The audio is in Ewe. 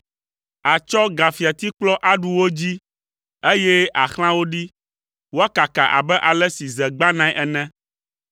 Àtsɔ gafiatikplɔ aɖu wo dzii, eye àxlã wo ɖi, woakaka abe ale si ze gbãnae ene.”